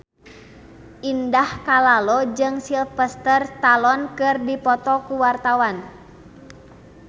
Indah Kalalo jeung Sylvester Stallone keur dipoto ku wartawan